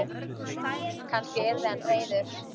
Kannski yrði hann reiður?